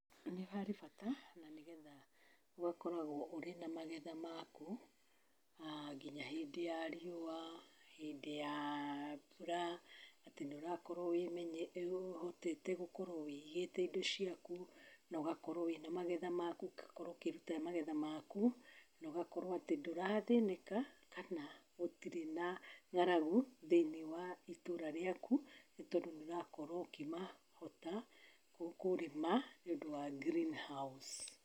Nĩ harĩ bata na nĩgetha ũgakoragwo ũrĩ na magetha maku ma nginya hĩndĩ ya riũa, hindĩ ya mbura, atĩ nĩ ũrakorwo ũhotete gũkorwo wĩigĩte indo ciaku na ũgakorwo wĩna magetha maku. Ũgakorwo ũkĩruta magetha maku na ũgakorwo atĩ ndũrathĩnĩka kana gũtirĩ na ng'aragu thĩinĩ wa itũũra rĩaku, nĩ tondũ nĩ ũrakorwo ũkĩmahota kũrĩma nĩũndũ wa greenhouse.